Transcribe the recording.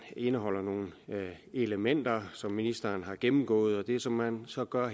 indeholder nogle elementer som ministeren har gennemgået det som man så gør